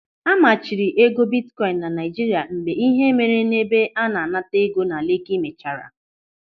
A machiri ego bitkoin na Naijiria mgbe ihe mere n'ebe a na-anata ego na Leki mechara.